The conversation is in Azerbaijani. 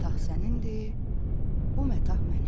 O məta sənin, bu məta mənim.